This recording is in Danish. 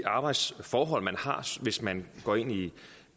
arbejdsforhold man har hvis man går ind i et